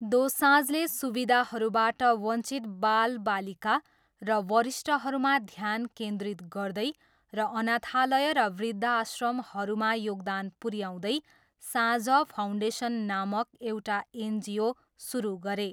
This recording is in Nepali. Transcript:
दोसाँझले सुविधाहरूबाट वञ्चित बालबालिका र वरिष्ठहरूमा ध्यान केन्द्रित गर्दै र अनाथालय र वृद्धाश्रमहरूमा योगदान पुऱ्याउँदै साँझ फाउन्डेसन नामक एउटा एनजिओ सुरु गरे।